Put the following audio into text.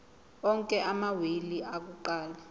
onke amawili akuqala